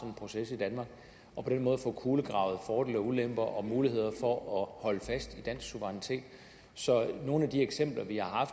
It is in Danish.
en proces i danmark og på den måde får kulegravet fordele og ulemper og muligheder for at holde fast i dansk suverænitet så nogle af de eksempler vi har